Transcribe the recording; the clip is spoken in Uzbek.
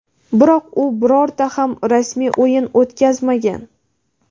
biroq u birorta ham rasmiy o‘yin o‘tkazmagan.